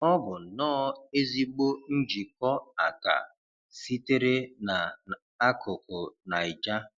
Ọ bụ nnọ́ọ́ ezịgbọ njìkọ́ àkà sịtere Na ákùkù Naịja